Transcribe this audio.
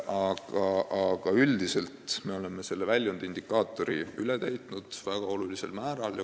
Aga üldiselt me oleme selle väljundindikaatori olulisel määral nn üle täitnud.